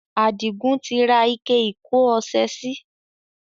Adigun tí ra ike ìkọ́ ọsẹ sì.